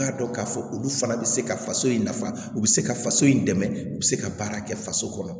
K'a dɔn k'a fɔ olu fana bɛ se ka faso in nafa u bɛ se ka faso in dɛmɛ u bɛ se ka baara kɛ faso kɔnɔ